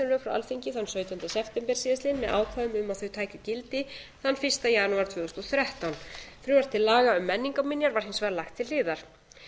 alþingi þann sautjánda september síðastliðinn með ákvæðum um að þau tækju gildi þann fyrsta janúar tvö þúsund og þrettán frumvarp til laga um menningarminjar var hins vegar lagt til hliðar